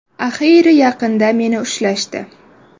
Axiyri yaqinda meni ushlashdi.